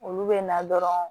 Olu bɛ na dɔrɔn